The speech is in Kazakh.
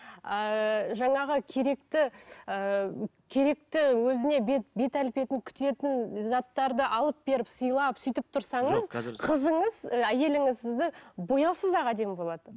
ыыы жаңағы керекті ыыы керекті өзіне бет бет әлпетін күтетін заттарды алып беріп сыйлап сөйтіп тұрсаңыз қызыңыз ы әйеліңіз сізді бояусыз ақ әдемі болады